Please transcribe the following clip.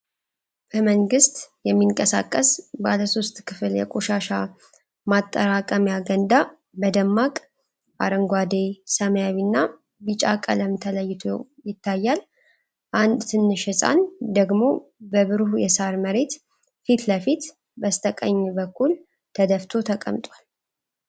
በመንግስት የሚንቀሳቀስ ባለ ሶስት ክፍል የቆሻሻ ማጠራቀሚያ ገንዳ በደማቅ አረንጓዴ፣ ሰማያዊና ቢጫ ቀለም ተለይቶ ይታያል፤ አንድ ትንሽ ሕፃን ደግሞ በብሩህ የሣር መሬት ፊት ለፊት በስተቀኝ በኩል ተደፍቶ ተቀምጧል።